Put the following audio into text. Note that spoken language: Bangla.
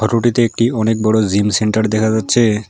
রুটিতে একটি অনেক বড় জিম সেন্টার দেখা যাচ্ছে।